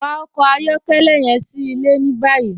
Wa ọkọ ayọkẹlẹ yẹn sí ilẹ̀ ní báyì.